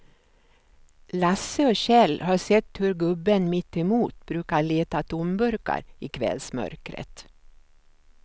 Lasse och Kjell har sett hur gubben mittemot brukar leta tomburkar i kvällsmörkret.